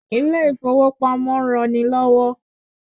Ilé ìfowópamọ́ ń ran ni lọ́wọ́